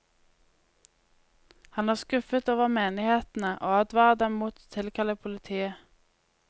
Han er skuffet over menighetene, og advarer dem mot å tilkalle politiet.